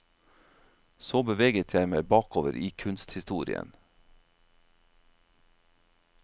Så beveget jeg meg bakover i kunsthistorien.